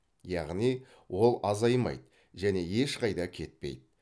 яғни ол азаймайды және ешқайда кетпейді